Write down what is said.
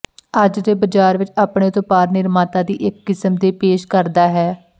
ਅੱਜ ਦੇ ਬਜ਼ਾਰ ਵਿਚ ਆਪਣੇ ਉਤਪਾਦ ਨਿਰਮਾਤਾ ਦੀ ਇੱਕ ਕਿਸਮ ਦੇ ਪੇਸ਼ ਕਰਦਾ ਹੈ